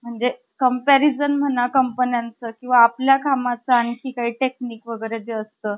तीन ठराव केले. एका बैठकीत एका बैठकीवर धोंडोपंथांना घेऊन बसू नहे. ज्या दुसरी,